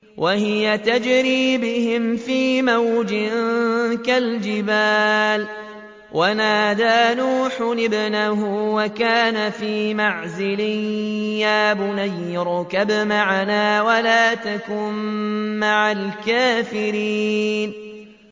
وَهِيَ تَجْرِي بِهِمْ فِي مَوْجٍ كَالْجِبَالِ وَنَادَىٰ نُوحٌ ابْنَهُ وَكَانَ فِي مَعْزِلٍ يَا بُنَيَّ ارْكَب مَّعَنَا وَلَا تَكُن مَّعَ الْكَافِرِينَ